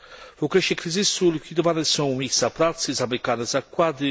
W okresie kryzysu likwidowane są miejsca pracy, zamykane zakłady.